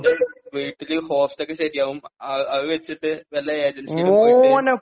ഓന്റെ വീട്ടില് ഹോസ്റ്റ് ഒക്കെ ശരിയാകും, അത് വച്ചിട്ട് വല്ല ഏജൻസി ലും പോയിട്ട്...